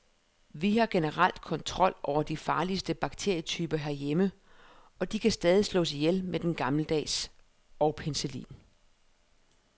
Vi har generelt kontrol over de farligste bakterietyper herhjemme, og de kan stadig slås ihjel med den gammeldags og penicillin.